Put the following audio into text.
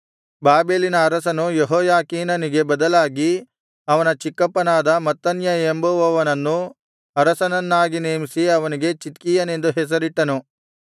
ಬಾಬೆಲಿನ ಅರಸನು ಯೆಹೋಯಾಖೀನನಿಗೆ ಬದಲಾಗಿ ಅವನ ಚಿಕ್ಕಪ್ಪನಾದ ಮತ್ತನ್ಯ ಎಂಬುವವನನ್ನು ಅರಸನನ್ನಾಗಿ ನೇಮಿಸಿ ಅವನಿಗೆ ಚಿದ್ಕೀಯನೆಂದು ಹೆಸರಿಟ್ಟನು